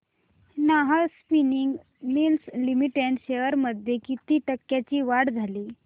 Nahar spinning mills limited shares मध्ये किती टक्क्यांची वाढ झाली